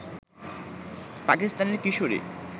পাকিস্তানের কিশোরী